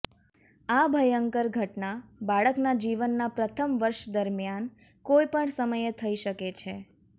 આ ભયંકર ઘટના બાળકના જીવનના પ્રથમ વર્ષ દરમિયાન કોઈપણ સમયે થઈ શકે છે